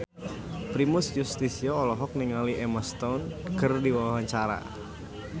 Primus Yustisio olohok ningali Emma Stone keur diwawancara